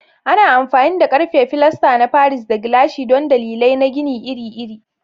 Ana amfani da ƙarfe, filasta na Paris, da gilashi don dalilai na gini iri-iri.